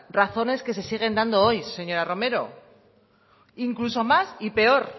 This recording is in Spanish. razones que se siguen dando hoy señora romero incluso más y peor